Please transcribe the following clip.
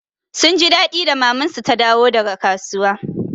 Sun ji daɗi da maman su ta dawo daga kasuwa.